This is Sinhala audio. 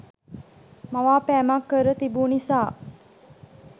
මවාපෑමක් කර තිබූ නිසා